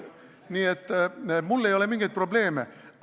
Nii et mul ei ole mingeid probleeme.